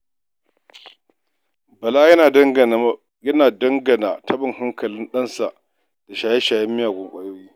Bala yana danganata taɓin hankalin ɗansa da shaye-shayen miyagun ƙwayoyi.